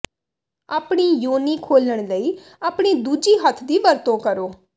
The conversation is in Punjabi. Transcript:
ਆਪਣੀ ਯੋਨੀ ਖੋਲ੍ਹਣ ਲਈ ਆਪਣੀ ਦੂਜੀ ਹੱਥ ਦੀ ਵਰਤੋਂ ਕਰੋ